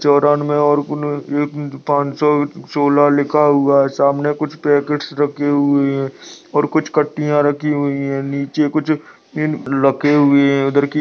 चौरानबे और पाँच सौ-सोलह लिखा हुआ है सामने कुछ पैकेट्स रखे हुए है और कुछ कट्टीया राखी हुई है नीचे कुछ पिन रखे हुए है। --